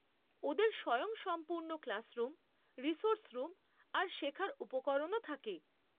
ওদের স্বয়ংসম্পূর্ণ classroom, resource room আর শেখার উপকরণও থাকে।